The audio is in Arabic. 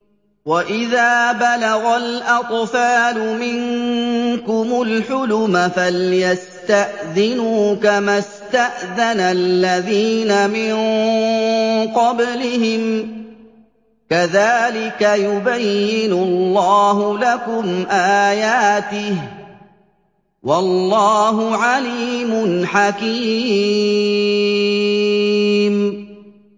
وَإِذَا بَلَغَ الْأَطْفَالُ مِنكُمُ الْحُلُمَ فَلْيَسْتَأْذِنُوا كَمَا اسْتَأْذَنَ الَّذِينَ مِن قَبْلِهِمْ ۚ كَذَٰلِكَ يُبَيِّنُ اللَّهُ لَكُمْ آيَاتِهِ ۗ وَاللَّهُ عَلِيمٌ حَكِيمٌ